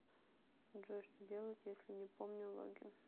джой что делать если не помню логин